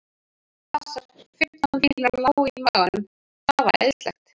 Passar. fimmtán bílar lágu á maganum. það var æðislegt.